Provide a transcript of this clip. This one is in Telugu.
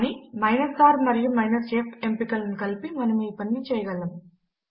కానీ r మరియు f ఎంపికలను కలిపితే మనము ఈ పనిని చేయగలము